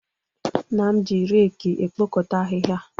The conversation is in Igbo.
Nna m ji reki ekpokọta ahịhịa.